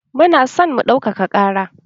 Mu na san mu ɗaukaka ƙara